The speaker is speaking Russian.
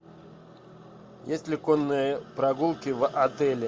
есть ли конные прогулки в отеле